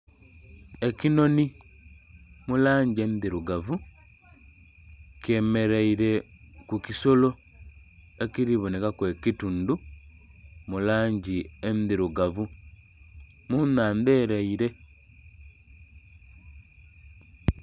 Ekinhonhi mu langi endhirugavu kyemereire ku kisolo ekiri bonekaku ekitundu mulangi endhirugavu mu naandha ereire